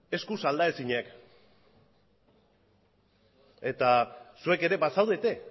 eskuz aldaezinak eta zuek ere bazaudete